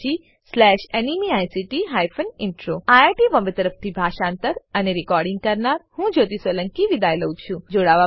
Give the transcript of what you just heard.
httpspoken tutorialorgNMEICT Intro IIT Bombay તરફથી હું જ્યોતી સોલંકી વિદાય લઉં છું